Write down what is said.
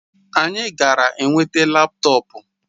Anyị gara nweta laptọọpụ